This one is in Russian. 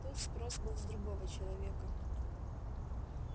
тут спрос был с другого человека